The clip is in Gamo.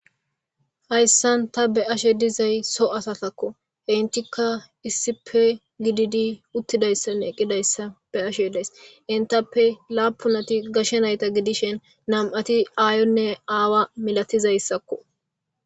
Hayssan ta be'ashe dizay so asatakko he entikka issipe gididi uttida issanne eqqida issa be'ashe days. Entappe laapunati gashe nayta gidishen nam'ati aayonne aawa milatiza assakko